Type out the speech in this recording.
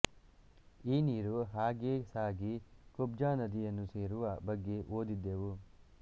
ಈ ನೀರು ಹಾಗೇ ಸಾಗಿ ಕುಬ್ಜಾ ನದಿಯನ್ನು ಸೇರುವ ಬಗ್ಗೆ ಓದಿದ್ದೆವು